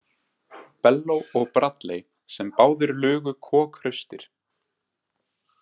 Bello og Bradley sem báðir lugu kokhraustir.